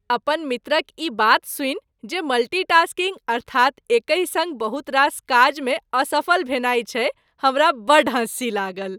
अपन मित्रक ई बात सूनि जे मल्टी टास्किंग अर्थात एकहि सङ्ग बहुत रास काजमे असफल भेनाय छै, हमरा बड्ड हँसी लागल।